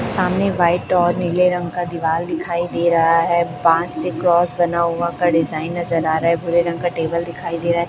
सामने व्हाइट और नीले रंग का दिवाल दिखाई दे रहा है बांस से क्रॉस बना हुआ का डिजाइन नज़र आ रहा है भूरे रंग का टेबल दिखाई दे रहा है।